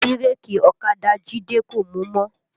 Bírèkì ọ̀kadà Jide kò mú mọ́